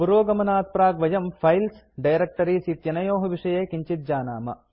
पुरोगमनात्प्राक् वयं files directories इत्यनयोः विषये किञ्चित् जानाम